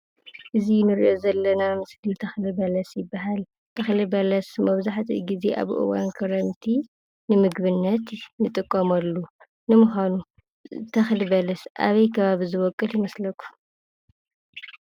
እዚ ንሪኣ ዘለና ምስሊ ተኽሊ በለስ ይበሃል፡፡ ተኽሊ በለስ መብዛሕትኡ ግዜ ኣብ እዋን ክረምቲ ንምግብነት ንጥቀመሉ፡፡ ንምዃኑ ተኽሊ በለስ ኣበይ ከባቢ ዝበቊል ይመስለኩም ?